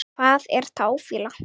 Hvað er táfýla?